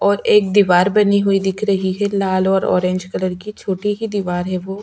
और एक दिवार बनी हुई दिख रही है लाल और ऑरेंज कलर की छोटी ही दिवार है वो --